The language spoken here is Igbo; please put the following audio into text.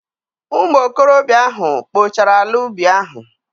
Ụmụ okorobịa ahụ kpochara ala ubi ahụ.